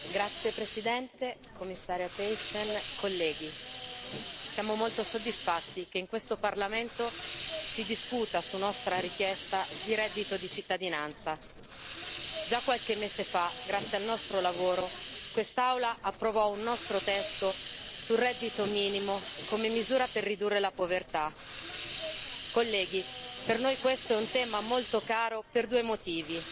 Signora Presidente, Commissaria Thyssen, onorevoli colleghi, siamo molto soddisfatti che in questo Parlamento si discuta su nostra richiesta di reddito di cittadinanza. Già qualche mese fa, grazie al nostro lavoro, quest'Aula approvò un nostro testo sul reddito minimo come misura per ridurre la povertà. Colleghi, per noi questo è un tema molto caro per due motivi.